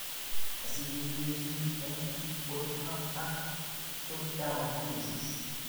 Asikeyojiin eng bottom-up ak top-down policies